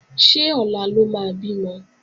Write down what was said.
Ṣé ọ̀la ló máa bímọ?